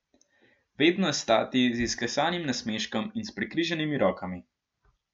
Vedno stati z izklesanim nasmeškom in s prekrižanimi rokami.